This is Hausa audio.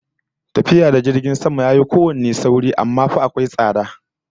Tafiya ta jirgin sama yafi kowanne sauri, amma fa akwai tsada, sai wane da wane